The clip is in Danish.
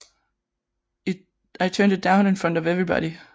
I turned it down in front of everybody